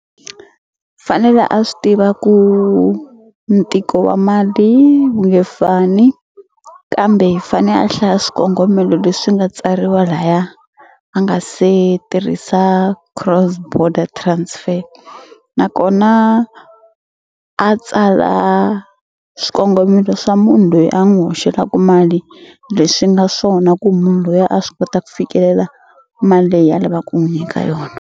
Fanele a swi tiva ku ntiko wa mali wu nge fani kambe fane a hlaya swikongomelo leswi nga tsariwa laya a nga se tirhisa cross-border transfer nakona a tsala swikongomelo swa munhu loyi a n'wu hoxelaku mali leswi nga swona ku munhu luya a swi kota ku fikelela mali leyi a lava ku n'wu nyika yona.